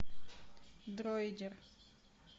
дроидер